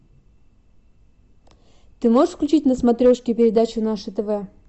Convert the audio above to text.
ты можешь включить на смотрешке передачу наше тв